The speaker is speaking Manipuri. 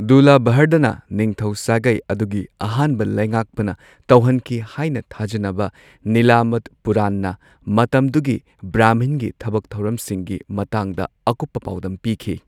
ꯗꯨꯔꯂꯚꯔꯙꯅ, ꯅꯤꯡꯊꯧ ꯁꯥꯒꯩ ꯑꯗꯨꯒꯤ ꯑꯍꯥꯟꯕ ꯂꯩꯉꯥꯛꯄꯅ ꯇꯧꯍꯟꯈꯤ ꯍꯥꯏꯅ ꯊꯥꯖꯅꯕ ꯅꯤꯂꯃꯥꯇ ꯄꯨꯔꯥꯟꯅ ꯃꯇꯝꯗꯨꯒꯤ ꯕ꯭ꯔꯥꯍꯃꯟꯒꯤ ꯊꯕꯛ ꯊꯧꯔꯝꯁꯤꯡꯒꯤ ꯃꯇꯥꯡꯗ ꯑꯀꯨꯞꯄ ꯄꯥꯎꯗꯝ ꯄꯤꯈꯤ꯫